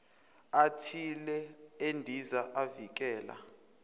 athile endiza avikela